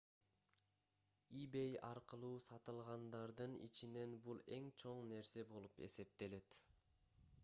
ebay аркылуу сатылгандардын ичинен бул эң чоң нерсе болуп эсептелет